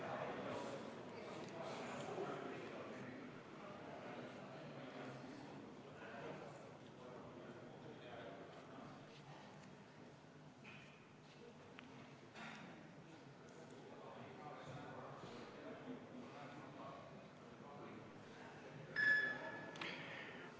Hääletustulemused